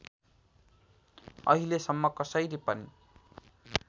अहिलेसम्म कसैले पनि